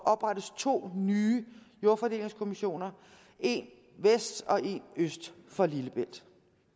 oprettes to nye jordfordelingskommissioner en vest og en øst for lillebælt